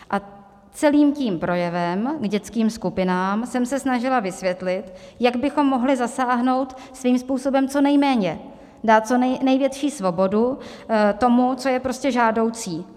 A celým tím projevem k dětským skupinám jsem se snažila vysvětlit, jak bychom mohli zasáhnout svým způsobem co nejméně, dát co největší svobodu tomu, co je prostě žádoucí.